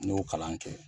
Ne y'o kalan kɛ